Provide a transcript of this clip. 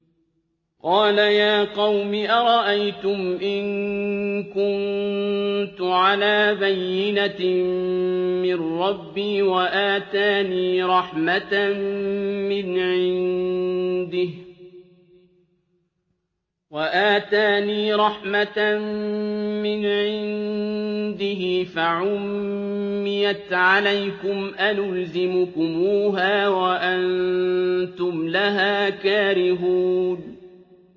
قَالَ يَا قَوْمِ أَرَأَيْتُمْ إِن كُنتُ عَلَىٰ بَيِّنَةٍ مِّن رَّبِّي وَآتَانِي رَحْمَةً مِّنْ عِندِهِ فَعُمِّيَتْ عَلَيْكُمْ أَنُلْزِمُكُمُوهَا وَأَنتُمْ لَهَا كَارِهُونَ